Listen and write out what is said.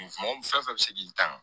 Mɔgɔ fɛn fɛn bɛ se k'i tan